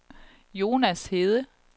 Jonas Hede